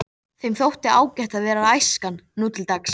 Danmörku og hitt sem við bættist hér á landi.